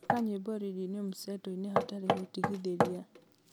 thaaka nyĩmbo rĩndiũ mseto-inĩ hatarĩ gũtigithĩria